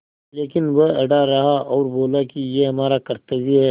लेकिन वह अड़ा रहा और बोला कि यह हमारा कर्त्तव्य है